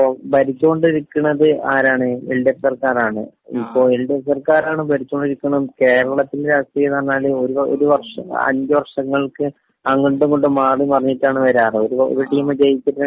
ഇപ്പൊ ഭരിച്ചുകൊണ്ടിരിക്കണത് ആരാണ്? എൽ.ഡി.എഫ് സർക്കാരാണ്. ഇപ്പോ എൽ.ഡി.എഫ് സർക്കാരാണ് ഭരിച്ചോണ്ടിരിക്കുന്നത്.കേരളത്തിലെ രാഷ്ട്രീയമെന്ന് പറഞ്ഞാല് ഒരുവർഷം...അഞ്ചുവർഷങ്ങൾക്ക് അങ്ങോട്ടുമിങ്ങോട്ടും മാറിമറിഞ്ഞിട്ടാണ് വരാറ്.ഒരു ടീമ്